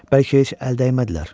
Bəlkə heç əl dəymədilər.